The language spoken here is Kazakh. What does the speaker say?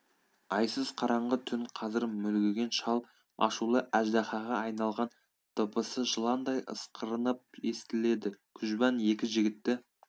айсыз қараңғы түн қазір мүлгіген шал ашулы әждаһаға айналған дыбысы жыландай ысқырынып есітіледі күжбан екі жігітті